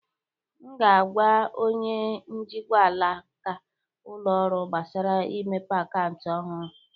M ga-agwa onye njikwa alaka ụlọ ọrụ gbasara imepe akaụntụ ọhụrụ.